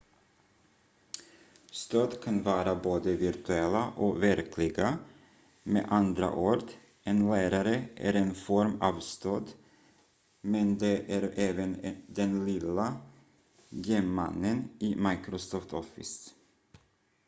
stöd kan vara både virtuella och verkliga med andra ord en lärare är en form av stöd men det är även den lilla gem-mannen i microsoft office